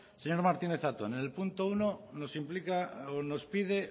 señor martínez zatón en el punto uno nos implica o nos pide